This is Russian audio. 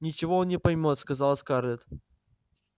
ничего он не поймёт сказала скарлетт